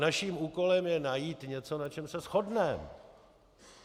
Naším úkolem je najít něco, na čem se shodneme.